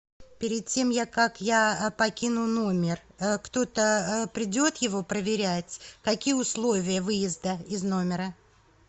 перед тем я как я покину номер кто то придет его проверять какие условия выезда из номера